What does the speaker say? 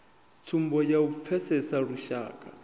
tsumbo ya u pfesesa lushaka